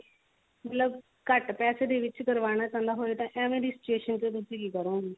ਮਤਲਬ ਘੱਟ ਪੈਸੇ ਦੇ ਵਿੱਚ ਕਰਵਾਉਣਾ ਚਾਹੁੰਦਾ ਹੋਵੇ ਏਹੋਜਿਹੀ situation ਵਿੱਚ ਤੁਸੀਂ ਕੀ ਕਰੋਗੇ